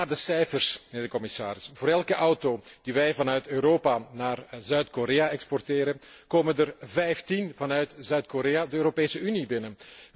Kijk naar de cijfers, mijnheer de commissaris, voor elke auto die wij vanuit Europa naar Zuid Korea exporteren komen er 15 vanuit Zuid Korea de Europese Unie binnen.